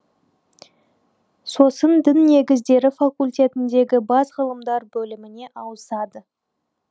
сосын дін негіздері факультетіндегі бас ғылымдар бөліміне ауысады